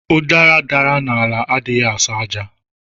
Utara dara n'ala adighi aso aja.